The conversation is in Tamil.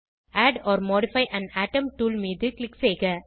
add or modify an atom tool மீது க்ளிக் செய்க